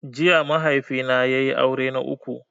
Jiya mahaifi na ya yi aure na uku